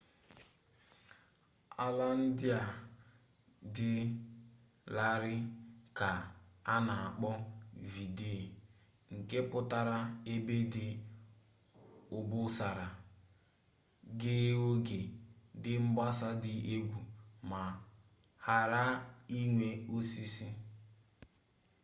ala ndị a dị larịị ka a na akpọ vidde nke pụtara ebe dị obosara ghee oghe dị mgbasa dị egwu ma ghara inwe osisi